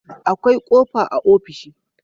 akwai kofa a ofishi